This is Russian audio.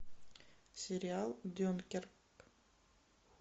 сериал дюнкерк